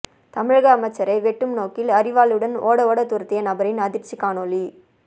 தமிழக அமைச்சரை வெட்டும் நோக்கில் அரிவாளுடன் ஓட ஓட துரத்திய நபரின் அதிர்ச்சி காணொளி